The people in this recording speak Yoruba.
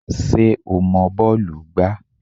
Ṣé o mọ bọ́ọ̀lù gbá?